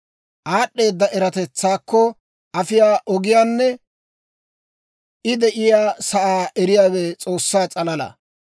«Aad'd'eeda eratetsaakko afiyaa ogiyaanne I de'iyaa sa'aa eriyaawe S'oossaa s'alala.